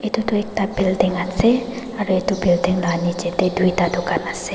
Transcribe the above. edu tu ekta building ase aru edu building la nichae tae tui ta dukan ase.